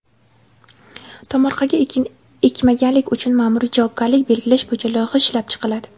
Tomorqaga ekin ekmaganlik uchun maʼmuriy javobgarlik belgilash bo‘yicha loyiha ishlab chiqiladi.